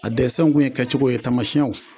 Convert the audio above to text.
A dɛsɛnw kun ye kɛcogo ye taamasiyɛnw